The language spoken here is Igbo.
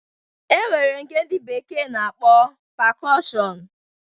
E nwere nke ndi bekee na-akpọ pekushọn